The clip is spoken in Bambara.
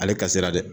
Ale ka sira dɛ